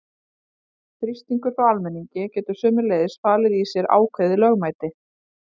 Þrýstingur frá almenningi getur sömuleiðis falið í sér ákveðið lögmæti.